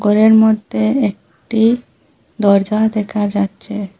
ঘরের মধ্যে একটি দরজা দেখা যাচ্ছে।